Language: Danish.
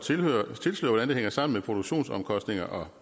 tilsløre hvordan det hænger sammen mellem produktionsomkostninger og